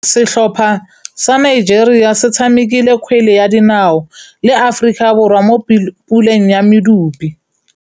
Setlhopha sa Nigeria se tshamekile kgwele ya dinaô le Aforika Borwa mo puleng ya medupe.